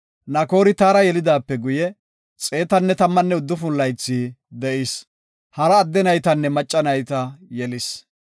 Nakoori Taara yelidaape guye, 119 laythi de7is. Hara adde naytanne macca nayta yelis.